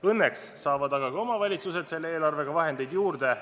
Õnneks saavad aga ka omavalitsused selle eelarvega vahendeid juurde.